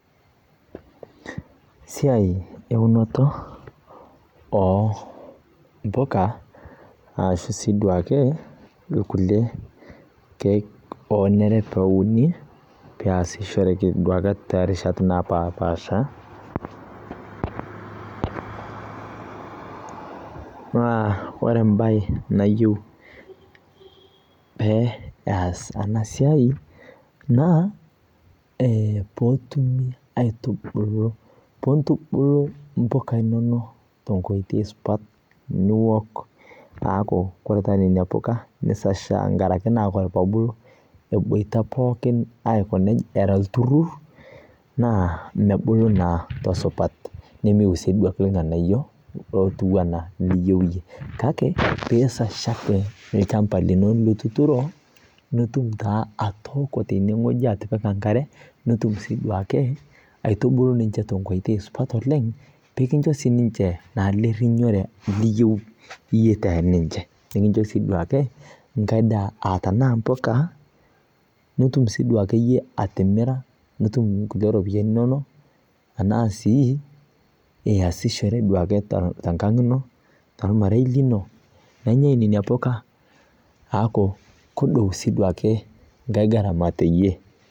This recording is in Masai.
Esiai eunoto oo mboka ashu siiduake irkulie kiek oomiri peuni peasishoreki duake toorishat napaasha. Naa ore embae nayieu pee eas ena siai naa peetumi aitubulu, piintubulu imboka inonok tenkoitoi supat niwok aaku kore taata kuna puka neisasha tenkaraki kebul eboita pookin era olturrurr naa mebulu naa tesupat nemeeiu sii duake irng'anayiok ootiu enaa liyieu iyie. Kake piisasha ake olchamba lino lituturo nitum taa atooko tenewueji atipika enkare, nitum sii duake aitubulu ninche tenkoitoi supat oleng peekincho siininche naa lerrinyore liyieu iyie teninche, tenincho sii duake enkare aa tenaa mboka nitum sii duake iyie atimira nitum inkulie ropiyiani inonok enaa sii iyasishore duake tenkang' ino tormarei lino nenyai nena puka aaku kedou sii duake enkae gharama teiyie